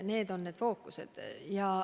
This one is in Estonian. Need valdkonnad on fookuses.